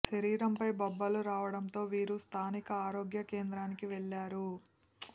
శరీరంపై బొబ్బలు రావడంతో వీరు స్థానిక ఆరోగ్య కేంద్రానికి వెళ్లారు